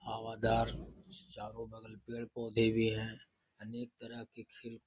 हवादार चारो बगल पेड़-पौधे भी है। अनेक तरह के खेल --